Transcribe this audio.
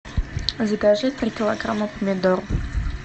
закажи три килограмма помидор